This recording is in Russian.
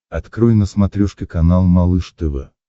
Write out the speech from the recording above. открой на смотрешке канал малыш тв